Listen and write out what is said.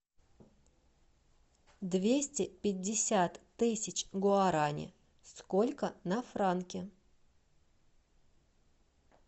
двести пятьдесят тысяч гуарани сколько на франки